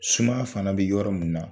Sumaya fana bɛ yɔrɔ min na,